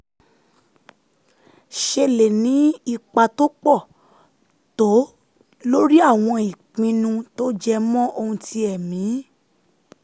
ṣe lè ní ipa tó pọ̀ tó lórí àwọn ìpinnu tó jẹ mọ́ oun ti ẹ̀mí